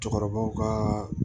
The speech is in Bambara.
Cɛkɔrɔbaw ka